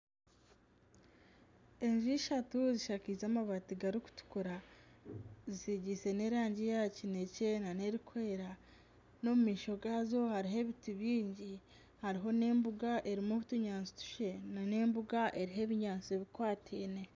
Enju ishatu zishakaize amabaati garikutukura zisigisiize n'erangi ya kinekye nana erikwera n'omu maisho gaazo hariho ebiti bingi hariho n'embuga eriho otunyaatsi nana embuga eriho ebinyaatsi bikwateine.